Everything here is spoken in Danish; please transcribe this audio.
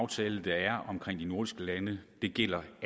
aftale der er omkring de nordiske lande gælder